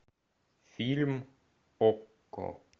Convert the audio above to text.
фильм окко